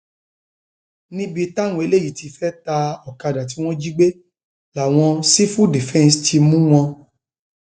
níbi táwọn eléyìí ti fẹẹ ta ọkadà tí wọn jí gbé làwọn sífù dìfẹǹsì ti mú wọn